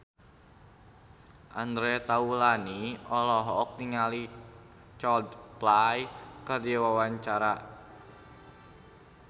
Andre Taulany olohok ningali Coldplay keur diwawancara